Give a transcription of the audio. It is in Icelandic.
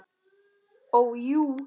Ó, jú.